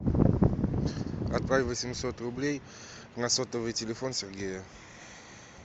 отправь восемьсот рублей на сотовый телефон сергея